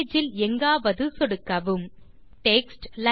page இல் எங்காவது சொடுக்கவும் டெக்ஸ்ட்